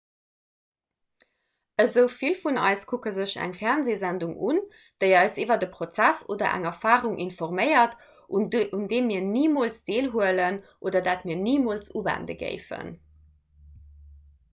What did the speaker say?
esou vill vun eis kucke sech eng fernseesendung un déi eis iwwer e prozess oder eng erfarung informéiert un deem mir nimools deelhuelen oder dat mir nimools uwende géifen